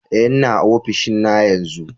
Eh, n'na ofishin na yanzu.